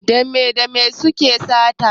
Me da me suke sa sata?